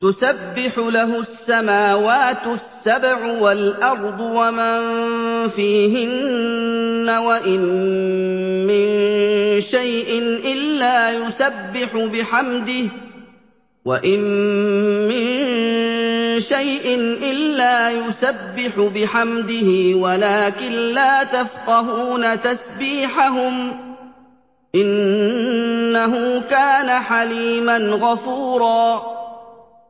تُسَبِّحُ لَهُ السَّمَاوَاتُ السَّبْعُ وَالْأَرْضُ وَمَن فِيهِنَّ ۚ وَإِن مِّن شَيْءٍ إِلَّا يُسَبِّحُ بِحَمْدِهِ وَلَٰكِن لَّا تَفْقَهُونَ تَسْبِيحَهُمْ ۗ إِنَّهُ كَانَ حَلِيمًا غَفُورًا